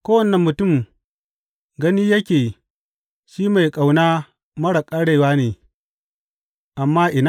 Kowane mutum gani yake shi mai ƙauna marar ƙarewa ne, amma ina?